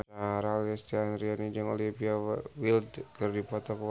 Lesti Andryani jeung Olivia Wilde keur dipoto ku wartawan